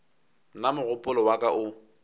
nna mogopolo wa ka o